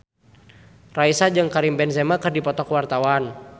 Raisa jeung Karim Benzema keur dipoto ku wartawan